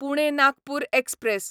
Pune Nagpur express